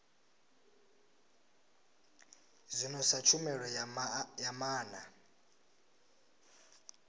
zwino sa tshumelo ya maana